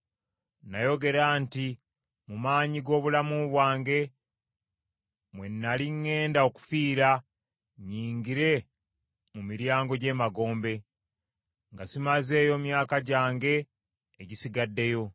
nayogera nti, “Mu maanyi g’obulamu bwange mwe nnali ŋŋenda okufiira nnyingire mu miryango gy’emagombe, nga simazeeyo myaka gyange egisigaddeyo.”